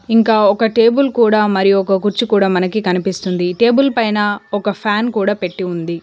ఇంకా ఒక టేబుల్ కూడా మరియు ఒక కుర్చీ కూడా మనకి కనిపిస్తుంది టేబుల్ పైన ఒక ఫ్యాన్ కూడా పెట్టి ఉంది.